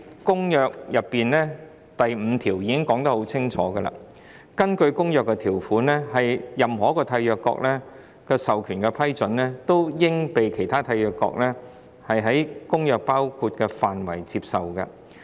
《公約》第五條清楚說明，根據《公約》的條款，在某一締約國授權下的批准，均應被其他締約國在《公約》所包括的範圍內接受。